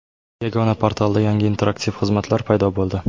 Yagona portalda yangi interaktiv xizmatlar paydo bo‘ldi.